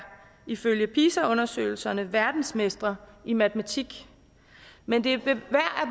ifølge pisa undersøgelserne verdensmestre i matematik men det er værd